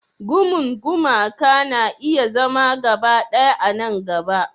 Gumun gumaka na iya zama gaba ɗaya a nan gaba.